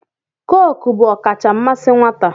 Cookuu bụ ọkacha mmasị nwata.